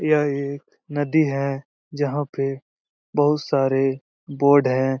यह एक नदी है जहाँ पे बहुत सारे बोर्ड हैं।